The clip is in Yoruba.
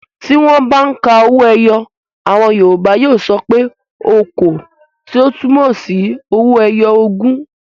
Tí wọ́n bá ń ka owó ẹyọ àwọn Yorùbá yóò sọ pé "okòó" tí ó túmọ̀ sí owó ẹyọ ogún.